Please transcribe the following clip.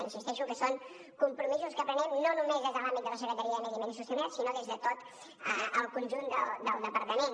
insisteixo que són compromisos que prenem no només des de l’àmbit de la secretaria de medi ambient i sostenibilitat sinó des de tot el conjunt del departament